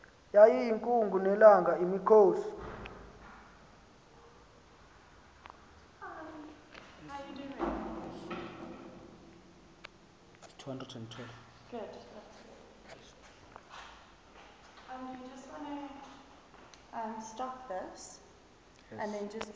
yayiyinkungu nelanga imikhosi